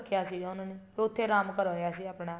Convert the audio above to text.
ਰੱਖਿਆ ਸੀਗਾ ਉਹਨਾ ਨੇ ਉੱਥੇ ਆਰਾਮ ਕਰਵਾਇਆ ਸੀ ਆਪਣਾ